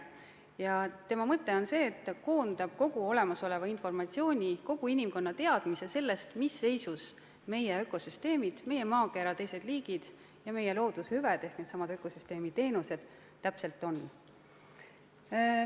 Paneeli mõte on see, et ta koondab kogu olemasoleva informatsiooni, kogu inimkonna teadmised sellest, mis seisus meie ökosüsteemid, meie maakera liigid ja meie looduse hüved ehk needsamad ökosüsteemi teenused täpselt on.